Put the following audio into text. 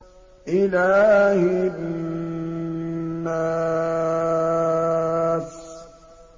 إِلَٰهِ النَّاسِ